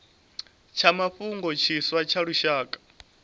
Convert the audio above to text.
tsha mafhungo tshiswa tsha lushaka